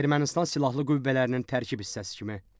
Ermənistan Silahlı Qüvvələrinin tərkib hissəsi kimi.